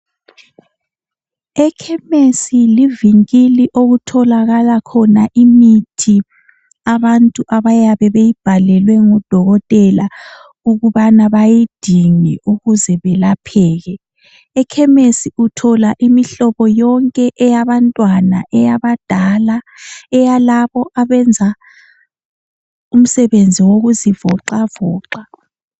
Ekhemesi livinkili okutholakala khona imithi abantu abayabe beyibhalelwe ngudokotela ukubana bayidinge ukuze belapheke. Ekhemesi uthola imihlobo yonke imihlobo eyabantwana, eyabadala eyalabo abenza umsebenzi wokuzivoxavoxa.